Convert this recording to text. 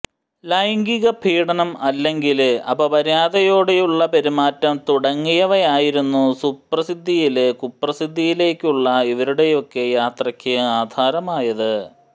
ലൈംഗീക പീഢനം അല്ലെങ്കില് അപമര്യാദയോടെയുള്ള പെരുമാറ്റം തുടങ്ങിയവയായിരുന്നു സുപ്രസിദ്ധിയില് കുപ്രസിദ്ധിയിലേക്കുള്ള ഇവരുടെയൊക്കെ യാത്രയ്ക്ക് ആധാരമായത്